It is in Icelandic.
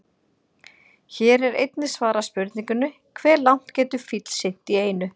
Hér er einnig svarað spurningunni: Hve langt getur fíll synt í einu?